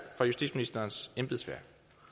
fra justitsministerens embedsværk